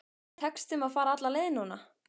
Tekst þeim að fara alla leið núna?